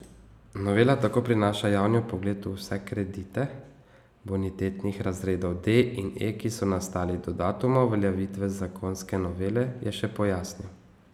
Novela tako prinaša javni vpogled v vse kredite bonitetnih razredov D in E, ki so nastali do datuma uveljavitve zakonske novele, je še pojasnil.